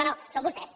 no no són vostès